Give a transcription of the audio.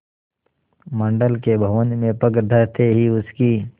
मंडल के भवन में पग धरते ही उसकी